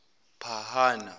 phahana